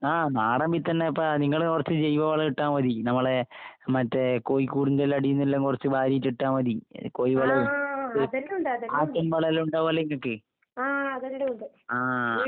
ആഹ് നാടൻ വിത്തന്നേപ്പാ. നിങ്ങള് കൊറച്ച് ജൈവവളം ഇട്ടാമതി. നമ്മളെ മറ്റേ കോഴിക്കൂടിന്റെല്ലാം അടീന്നെല്ലാം കൊറച്ച് വാരീറ്റിട്ടാമതി ഏഹ് കോയി വളേ, കോയി. ആട്ടിന്‍വളോം എല്ലാം ഇണ്ടാവല്ലോ ഇങ്ങക്ക്. ആഹ്.